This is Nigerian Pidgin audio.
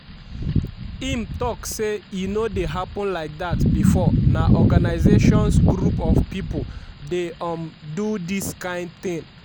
im tok say e no dey happun like dat bifor na organisations group of pipo dey um do dis kain tin.